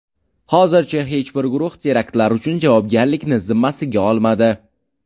Hozircha hech bir guruh teraktlar uchun javobgarlikni zimmasiga olmadi.